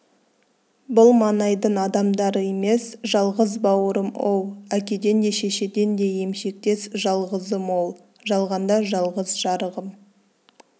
бұл маңайдың адамдары емес жалғыз бауырым-оу әкеден де шешеден де емшектес жалғызым-оу жалғанда жалғыз жарығым